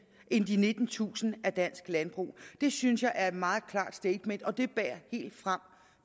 nittentusind af dansk landbrug det synes jeg er et meget klart statement og det bærer helt frem